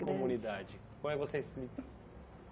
Grande Comunidade? Como é que você